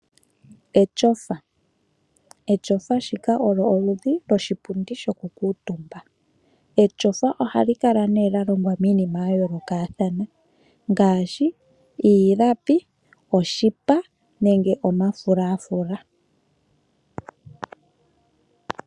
Etyofa, etyofa shika olyo oludhi lwoshipundi shoku kuuntumba .Etyofa ohali kala ne lya longwa miinima ya yoolokathana ngaashi iilapi ,oshipa nenge omafulafula.